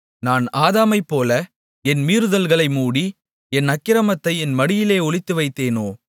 நான் ஆதாமைப்போல என் மீறுதல்களை மூடி என் அக்கிரமத்தை என் மடியிலே ஒளித்துவைத்தேனோ